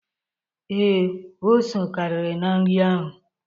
Ee, ose karịrị na nri ahụ.